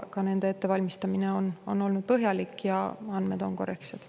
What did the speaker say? Ka nende ettevalmistamine on olnud põhjalik ja andmed on korrektsed.